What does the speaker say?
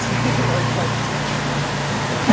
хе-хе лайфхаки